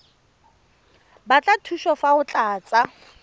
batla thuso fa o tlatsa